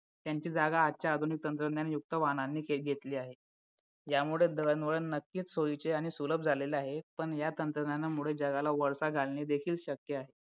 त्यांची जागा आजच्या आधुनिक तंत्रज्ञान युक्त वाहनाने घेतलेली आहे यामुळे दळणवळण नक्कीच सोयीचे आणि सुलभ झालेले आहे पण या तंत्रज्ञानामुळे जगाला वळसा घालणे देखील शक्य आहे